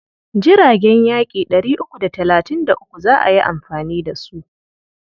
Jiragen yaƙi ɗari uku da talatin da uku za a yi amfani da su.